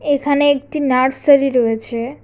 এখানে একটি নার্সারি রয়েছে।